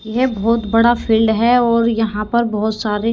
यह बहोत बड़ा फील्ड है और यहाँ पर बहोत सारे--